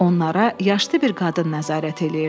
Onlara yaşlı bir qadın nəzarət edirdi.